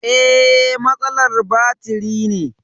Eh, matsalar batiri ne